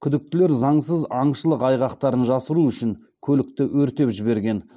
күдіктілер заңсыз аңшылық айғақтарын жасыру үшін көлікті өртеп жіберген